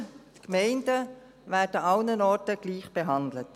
Die Gemeinden werden an allen Orten gleichbehandelt.